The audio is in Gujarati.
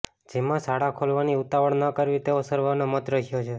જેમાં શાળા ખોલવાની ઉતાવળ ન કરવી તેવો સર્વેનો મત રહ્યો છે